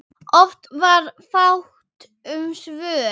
Oft var fátt um svör.